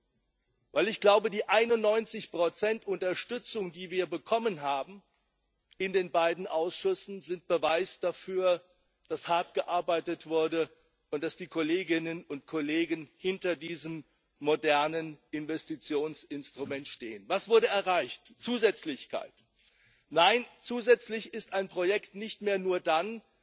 Denn die 91 Unterstützung, die wir in den beiden Ausschüssen bekommen haben, sind Beweis dafür, dass hart gearbeitet wurde und dass die Kolleginnen und Kollegen hinter diesem modernen Investitionsinstrument stehen. Was wurde erreicht Zusätzlichkeit? Nein, zusätzlich ist ein Projekt nicht mehr nur dann,